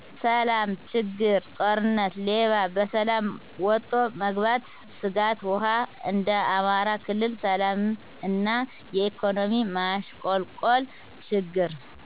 ሰላም..... ችግር ...ጦርነት፣ ሌባ፣ በሰላም ወቶ መግባት ስጋት፣ ውሃ፣ እንደ አማራ ክልል ሰላም እና የኢኮኖሚ ማሸቆልቆል ችግር